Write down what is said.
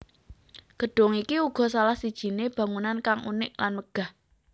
Gedung iki uga salah sijine bangunan kang unik lan megah